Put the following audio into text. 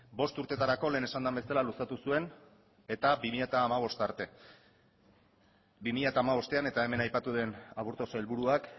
bost urtetarako lehen esan den bezala luzatu zuen eta bi mila hamabost arte bi mila hamabostean eta hemen aipatu den aburto sailburuak